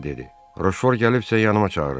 Roşfor gəlibsə yanıma çağırın.